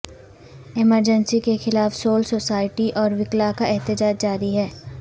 emergency کے خلاف civil society اور وکلاء کا احتجاج جاری ہے